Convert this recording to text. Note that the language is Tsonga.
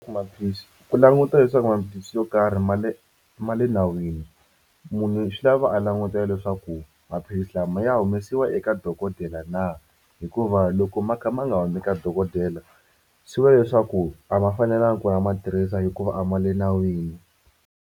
Ku maphilisi ku languta leswaku maphilisi yo karhi ma le ma le nawini munhu swi lava a langutela leswaku maphilisi lama ya humesiwa eka dokodela na hikuva loko ma kha ma nga humi ka dokodela swi va leswaku a ma fanelanga ku a ma tirhisa hikuva a ma le nawini.